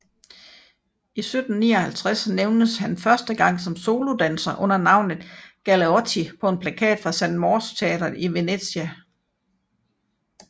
I 1759 nævnes han første gang som solodanser under navnet Galeotti på en plakat fra San Morse teatret i Venezia